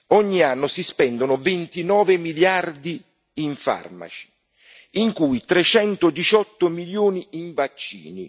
Ogni anno si spendono 29 miliardi in farmaci, di cui 318 milioni in vaccini.